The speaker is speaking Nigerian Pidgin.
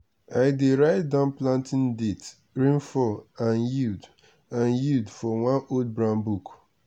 i dey write down planting date rainfall and yield and yield for one old brown book.